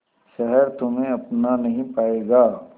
शहर तुम्हे अपना नहीं पाएगा